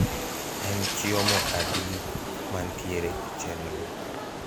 en chiomo adi mantiere e chenro